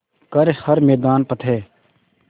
कर हर मैदान फ़तेह